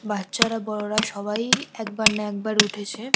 বাচ্চারা বড়োরা সবাই একবার না একবার উঠেছে।